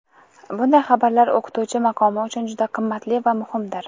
Bunday xabarlar o‘qituvchi maqomi uchun juda qimmatli va muhimdir.